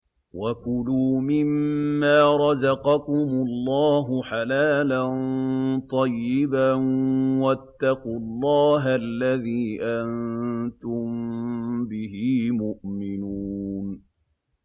وَكُلُوا مِمَّا رَزَقَكُمُ اللَّهُ حَلَالًا طَيِّبًا ۚ وَاتَّقُوا اللَّهَ الَّذِي أَنتُم بِهِ مُؤْمِنُونَ